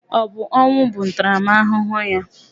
Ọ bụ ọnwụ bụ ntaramahụhụ ya?